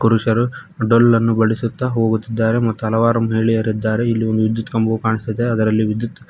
ಪುರುಷರು ಡಲ್ಲನ್ನು ಬಡಿಸುತ್ತಾ ಹೋಗುತ್ತಿದ್ದಾರೆ ಮತ್ತು ಹಲವಾರು ಮಹಿಳೆಯರು ಇದ್ದಾರೆ ಇಲ್ಲಿ ಒಂದು ವಿದ್ಯುತ್ ಕಂಬವು ಕಾಣಿಸುತ್ತಿದೆ ಅದರಲ್ಲಿ ವಿದ್ಯುತ್--